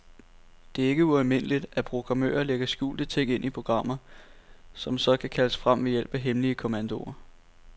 Det er ikke ualmindeligt, at programmører lægger skjulte ting ind i programmer, som så kan kaldes frem ved hjælp af hemmelige kommandoer.